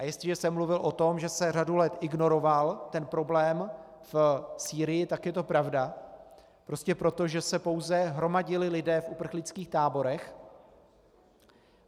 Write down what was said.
A jestliže jsem mluvil o tom, že se řadu let ignoroval ten problém v Sýrii, tak je to pravda, prostě proto, že se pouze hromadili lidé v uprchlických táborech.